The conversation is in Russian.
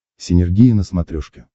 синергия на смотрешке